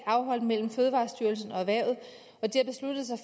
mellem fødevarestyrelsen og erhvervet